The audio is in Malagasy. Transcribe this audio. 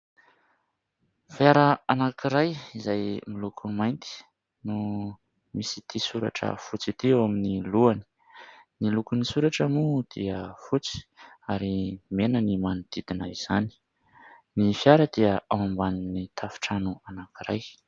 Fiara anankiray izay miloko mainty no misy ity soratra fotsy ity ao amin'ny lohany, ny lokon'ny soratra moa dia fotsy ary mena ny manodidina izany, ny fiara dia ao ambanin'ny tafo trano anankiray.